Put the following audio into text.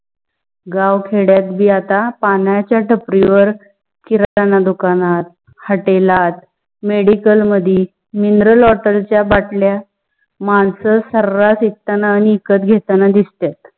गाव खेड्यात भी आता पणाच्या टपरी वर किराणा दुकानत, hotel लात, medical मधे mineral water चा बाटल्या माणस सर्रास विकताना आणि विकत घेताना दिसतात.